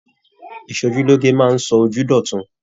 Ìsòjúloge máa sọ ojú d'ọtun.